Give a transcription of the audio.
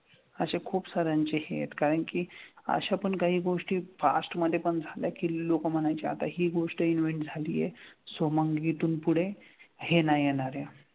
असे खूप साऱ्यांचे हे आहेत कारण की अशा पण काही गोष्टी past मधेपण झाल्यात की लोकं म्हणायची आता हि गोष्ट invent झाली आहे so मग इथून पुढे हे नाही येणार आहे.